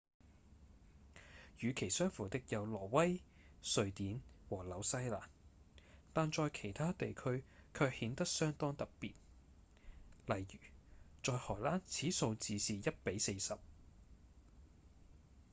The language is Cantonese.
與其相符的有挪威、瑞典和紐西蘭但在其他地區卻顯得相當特別例如：在荷蘭此數字是1比40